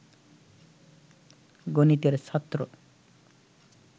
গণিতের ছাত্র